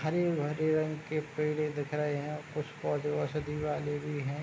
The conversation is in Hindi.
हरे-भरे रंग के पेड़ें दिख रहे हैं कुछ पौधे औषिधि वाले भी हैं।